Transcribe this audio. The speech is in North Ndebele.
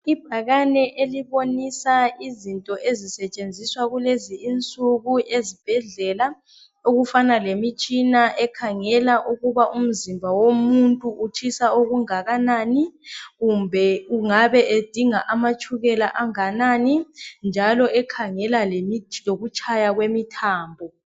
Ibhakane elibonisa izinto ezisetshenziswa kulezi insuku ezibhedlela okufana lemitshina ekhangela ukuba umzimba womuntu utshisa okunganani, udinga itshukela enganani njalo lokutshaya kwemithambo.